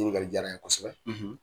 Ɲiningali diyara n ye kosɛbɛ.